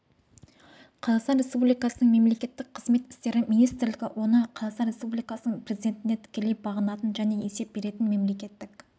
қазақстан республикасының мемлекеттік қызмет істері министрлігі оны қазақстан республикасының президентіне тікелей бағынатын және есеп беретін мемлекеттік